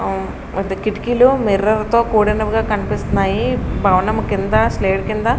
పెద్ద కిటికీలు మిర్రర్ తో కూడినగా కనిపిస్తున్నాయి. భవనం కింద కింద --